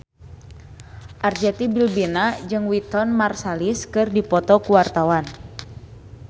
Arzetti Bilbina jeung Wynton Marsalis keur dipoto ku wartawan